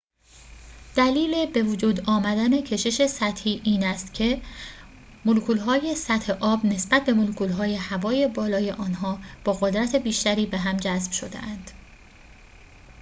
دلیل بوجود آمدن کشش سطحی این است که ملکول‌های سطح آب نسبت به ملکول‌های هوای بالای آنها با قدرت بیشتری به هم جذب شده‌اند